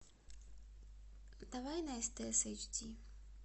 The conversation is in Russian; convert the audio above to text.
давай на стс эйч ди